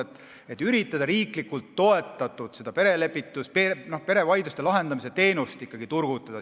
Tuleks üritada riiklikult toetatud perelepitust, perevaidluste lahendamise teenust Eestis turgutada.